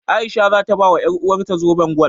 A'isha za ta bawa ƴaruwarta zoben gwal.